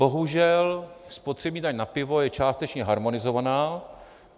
Bohužel spotřební daň na pivo je částečně harmonizovaná.